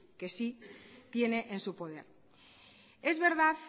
que sí tiene en su poder es verdad